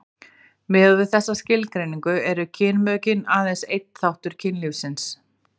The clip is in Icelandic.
miðað við þessa skilgreiningu eru kynmökin aðeins einn þáttur kynlífsins